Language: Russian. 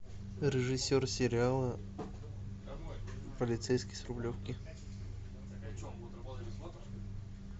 режиссер сериала полицейский с рублевки